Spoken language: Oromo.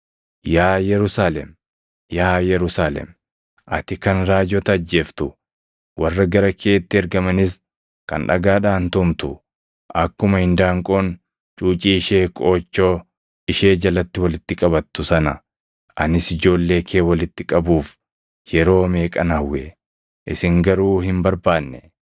“Yaa Yerusaalem, yaa Yerusaalem, ati kan raajota ajjeeftu, warra gara keetti ergamanis kan dhagaadhaan tumtu, akkuma indaanqoon cuucii ishee qoochoo ishee jalatti walitti qabattu sana anis ijoollee kee walitti qabuuf yeroo meeqan hawwe! Isin garuu hin barbaanne.